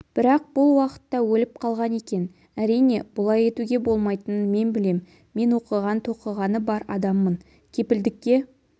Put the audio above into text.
бірақ бұл уақытта өліп қалған екен әрине бұлай етуге болмайтынын мен білем мен оқыған-тоқығаны бар адаммын кепілдікке